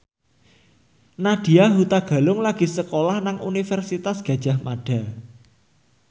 Nadya Hutagalung lagi sekolah nang Universitas Gadjah Mada